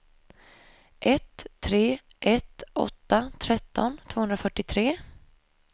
ett tre ett åtta tretton tvåhundrafyrtiotre